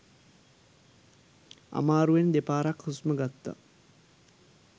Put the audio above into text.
අමාරුවෙන් දෙපාරක් හුස්ම ගත්තා